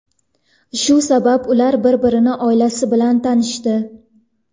Shu sabab, ular bir-birini oilasi bilan tanishdi.